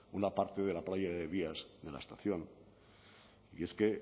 una parte de la playa de vías de la estación y es que